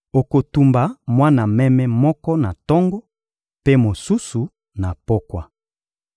Okotumba mwana meme moko na tongo, mpe mosusu, na pokwa.